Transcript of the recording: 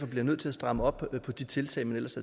bliver nødt til at stramme op på de tiltag man ellers